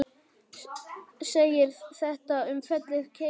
segir þetta um fellið Keili